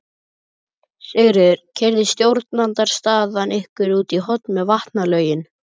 Sigríður: Keyrði stjórnarandstaðan ykkur út í horn með vatnalögin?